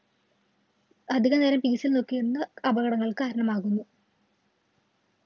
അധികനേരം ല്‍ നോക്കിയിരുന്ന്, അപകടങ്ങള്‍ക്ക് കാരണമാകുന്നു.